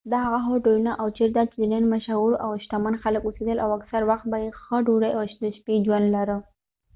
دا هغه هوټلونه و چېرته چې د نن مشهور او شتمن خلک اوسیدل او اکثر وخت به یې ښه ډودۍ او د شپې ژوند لره